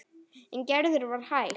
En Gerður var hæg.